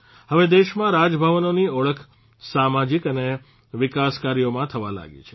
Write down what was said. હવે દેશમાં રાજભવનોની ઓળખ સામાજીક અને વિકાસ કાર્યોમાં થવા લાગી છે